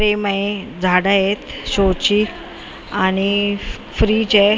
आहे झाड आहेत शो ची आणि फ्रीज आहे.